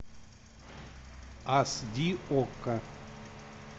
ас ди окко